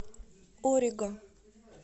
ориго